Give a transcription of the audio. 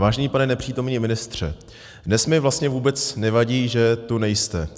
Vážený pane nepřítomný ministře, dnes mi vlastně vůbec nevadí, že tu nejste.